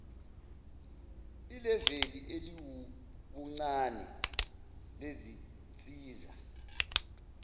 ileveli eliwubuncane lezinsiza